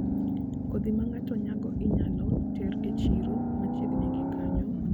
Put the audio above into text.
Kodhi ma ng'ato nyago inyalo ter e chiro machiegni gi kanyo mondo oyud ohala